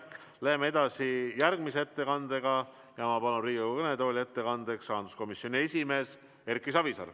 Läheme edasi järgmise ettekandega ja ma palun Riigikogu kõnetooli ettekandjaks rahanduskomisjoni esimehe Erki Savisaare.